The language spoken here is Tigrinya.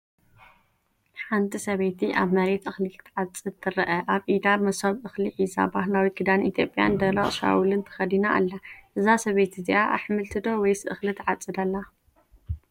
ሓንቲ ሰበይቲ ኣብ መሬት እኽሊ ክትዓጽድ ትርአ። ኣብ ኢዳ መሶብ እኽሊ ሒዛ፡ ባህላዊ ክዳን ኢትዮጵያን ደረቕ ሻውልን ተኸዲና ኣላ። እዛ ሰበይቲ እዚኣ ኣሕምልቲ ዶ ወይስ እኽሊ ትዓጽድ ኣላ?